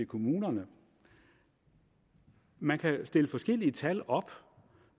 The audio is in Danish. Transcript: kommunerne man kan stille forskellige tal op